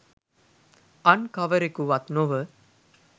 අන්කවරෙකු වත් නොව